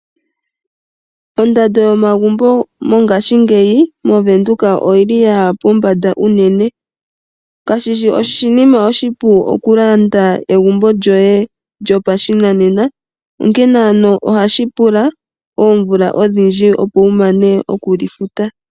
Ondando yomagumbo mongashingeyi moWindhoek oyili yaya pombanda unene. Kashishi oshinima oshipu okulanda egumbo lyoye lyopashinanena, onkene ano ohashi pula oomvula odhindjj opo wumane okuli futa.